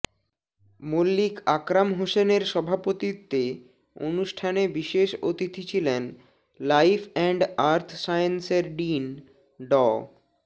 মল্লিক আকরাম হোসেনের সভাপতিত্বে অনুষ্ঠানে বিশেষ অতিথি ছিলেন লাইফ অ্যান্ড আর্থ সায়েন্সের ডিন ড